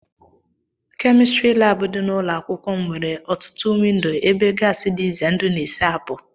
kémistiri láábu di n'ụlọ akwụkwọ m nwere ọtụtụ windo ebe gáási dị ize ndụ na-esi ápụ